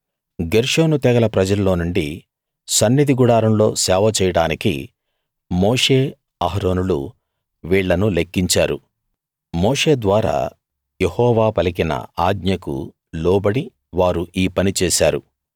గెర్షోను తెగల ప్రజల్లోనుండి సన్నిధి గుడారంలో సేవ చేయడానికి మోషే అహరోనులు వీళ్ళను లెక్కించారు మోషే ద్వారా యెహోవా పలికిన ఆజ్ఞకు లోబడి వారు ఈ పని చేశారు